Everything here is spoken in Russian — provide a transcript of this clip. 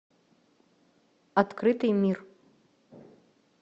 открытый мир